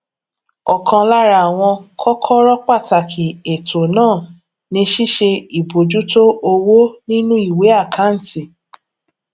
ọkan lára àwọn kọkọrọ pàtàkì ètò náà ni ṣíṣe ìbojútó owó nínú ìwé àkáǹtì